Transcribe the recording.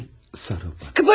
Gəl sarıl bana.